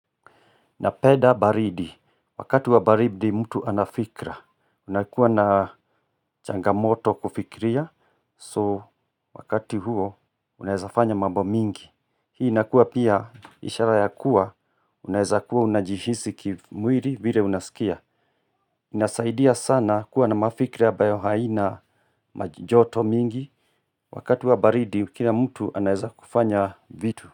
Napenda baridi, wakati wa baridi mtu ana fikra unakuwa na changamoto kufikiria, so wakati huo unawezafanya mambo mingi. Hii inakuwa pia ishara ya kuwa, unaezakuwa unajihisi ki mwiri vile unaskia. Inasaidia sana kuwa na mafikri ambayo haina ma joto mingi, wakati wa baridi kila mtu anaezakufanya vitu.